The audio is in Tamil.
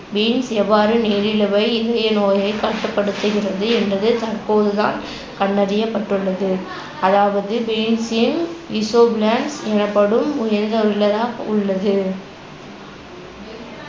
beans எவ்வாறு நீரிழிவை, இதயநோயைக் கட்டுப்படுத்துகிறது என்பதை தற்போது தான் கண்டறியபட்டுள்ளது. அதாவது beans ன் எனப்படும் உள்ளது